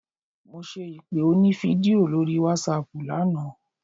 Mo ṣe ìpè onífídíò lórí wásaàpù lánàá.